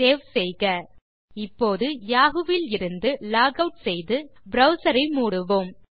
save செய்க இப்போது Yahoo விலிருந்து லாக் ஆட் செய்து ப்ரவ்சர் ஐ மூடுவோம்